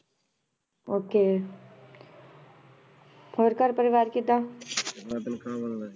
Okay ਹੋਰ ਘਰ ਪਰਿਵਾਰ ਕਿੱਦਾਂ